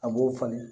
An b'o falen